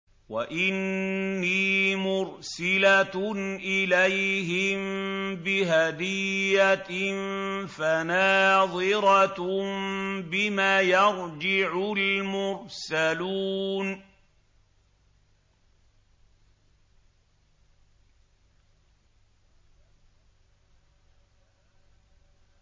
وَإِنِّي مُرْسِلَةٌ إِلَيْهِم بِهَدِيَّةٍ فَنَاظِرَةٌ بِمَ يَرْجِعُ الْمُرْسَلُونَ